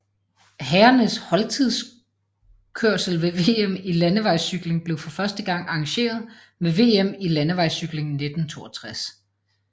Herrernes holdtidskørsel ved VM i landevejscykling blev for første gang arrangeret ved VM i landevejscykling 1962